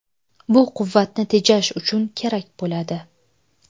Bu quvvatni tejash uchun kerak bo‘ladi.